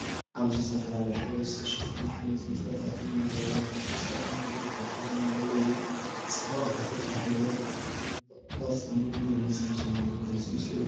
ኣብዚ ብዝተፈላለዩ ሕብሪ ዝተሸፈኑ ኣሕምልትን ፍረታትን ኣብ መደርደሪታት ብስረዕ መንገዲ ተዘርጊሖም ኣለዉ፤ እዚ ጽባቐ ተፈጥሮ ብሕብርን ቅርጽን ብንጹር ዝገልፅ ምስሊ እዩ።